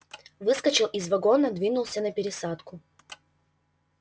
выскочил из вагона двинулся на пересадку